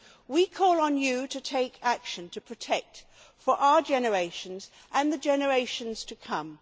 We call on you to take action to protect our generation and the generations to come.